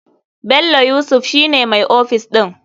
Bello yusuf shi ne mai ofis ɗin.